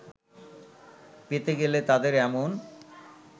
পেতে গেলে তাদের এমন